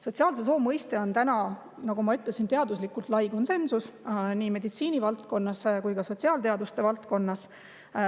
" Sotsiaalse soo mõistes on täna, nagu ma ütlesin, teaduslikult lai konsensus nii meditsiinivaldkonnas kui ka sotsiaalteaduste valdkonnas.